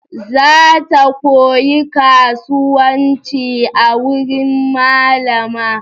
Za ta koyi kasuwanci a wuri malama.